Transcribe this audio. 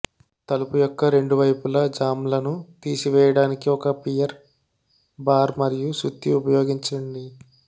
తలుపు యొక్క రెండు వైపులా జామ్లను తీసివేయడానికి ఒక పియర్ బార్ మరియు సుత్తి ఉపయోగించండి